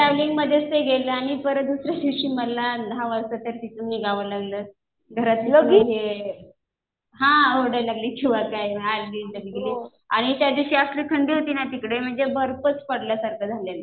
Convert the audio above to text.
मग ट्रॅव्हलिंगमध्येच ते गेलं आणि दुसऱ्या दिवशी परत मला दहा वाजता त्या तिथून निघावं लागलं. घरातलं हे हा ओरडायला लागली आणि त्या दिवशी असली थंडी होती ना तिकडे म्हणजे बर्फच पडल्यासारखा झालेलं.